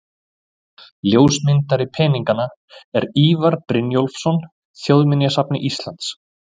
Ljósmyndari peninganna er Ívar Brynjólfsson, Þjóðminjasafni Íslands.